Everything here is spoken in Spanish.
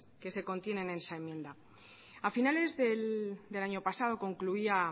que se contienen en esa enmienda a finales del año pasado concluía